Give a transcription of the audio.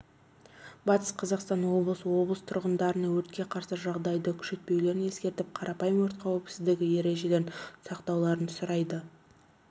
батыс қазақстан облысы облыс тұрғындарына өртке қарсы жағдайды күшейтпеулерін ескертіп қарапайым өрт қауіпіздігі ережелерін сақтауларын сұрайды